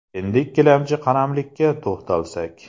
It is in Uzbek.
Endi ikkilamchi qaramlik ka to‘xtalsak.